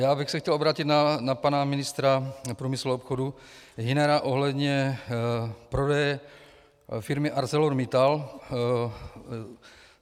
Já bych se chtěl obrátit na pana ministra průmyslu a obchodu Hünera ohledně prodeje firmy ArcelorMittal.